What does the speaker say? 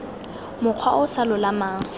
mokgwa o o sa lolamang